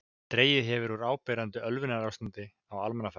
Dregið hefur úr áberandi ölvunarástandi á almannafæri.